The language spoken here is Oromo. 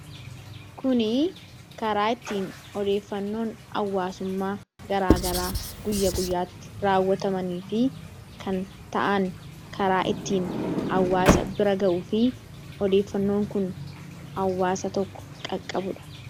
kuni karaa ittiin odeeffannoon awwaasummaa garaagaraa guyya guyyaatti raawwatamanii fi kan ta'an karaa ittiin awwaasa bira ga'uu fi odeeffannoon kun awwaasa tokko qaqqabudha